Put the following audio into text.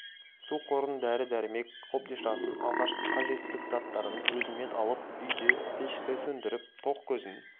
су қорын дәрі-дәрмек қобдишасын алғашқы қажеттілік заттарын өзімен алып үйде пешті сөндіріп тоқ көзін